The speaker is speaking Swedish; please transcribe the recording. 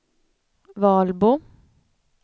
Valbo